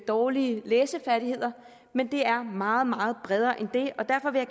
dårlige læsefærdigheder men det er meget meget bredere end det og derfor vil